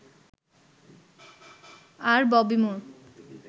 আর Bobby মুর